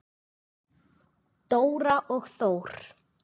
Dóra og Þór.